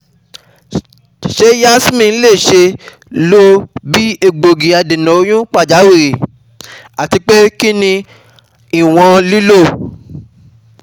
Ṣe Yasmin le ṣee lo bi egbogi adena oyun pajawiri? atipe kini iwọn lilo?